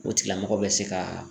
O tigilamɔgɔ bɛ se ka